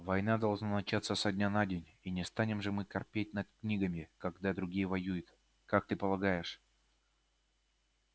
война должна начаться со дня на день и не станем же мы корпеть над книгами когда другие воюют как ты полагаешь